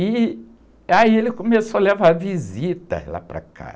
E aí ele começou a levar visitas lá para casa